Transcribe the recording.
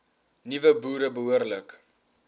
nuwe boere behoorlik